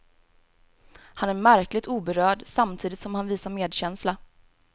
Han är märkligt oberörd, samtidigt som han visar medkänsla.